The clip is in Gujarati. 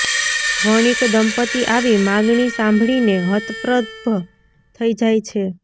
વણિક દંપતિ આવી માગણી સાંભળીને હતપ્રભ થઈ જાય છે